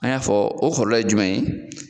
An y'a fɔ o kɔlɔlɔ ye jumɛn ye.